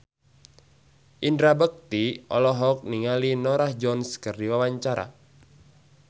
Indra Bekti olohok ningali Norah Jones keur diwawancara